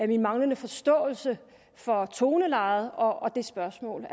min manglende forståelse for tonelejet og det spørgsmål